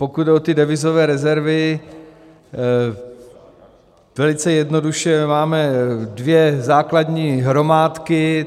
Pokud jde o devizové rezervy, velice jednoduše: máme dvě základní hromádky.